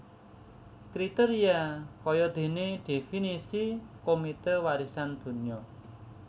Kriteria kayadéné definisi Komite Warisan Donya